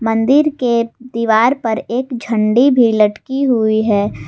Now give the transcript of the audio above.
मंदिर के दीवार पर एक झंडी भी लटकी हुई है।